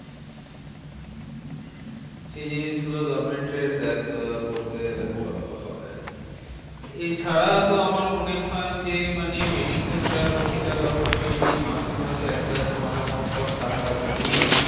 সেই জিনিসগুলো government এর দেখা করতে হয় আরকি। হম এছাড়া তো আমার মনে হয় যে, মানে mediclaim টা প্রতিটা লোক যদি মাসে মাসে একটা small amount of টাকা জমিয়ে